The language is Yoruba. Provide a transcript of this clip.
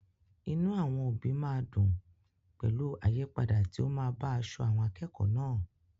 Inú àwọn òbí máa dùn pẹ̀lú àyípadà tí ó máa bá aṣọ àwọn akẹ́kọ̀ọ́ náà.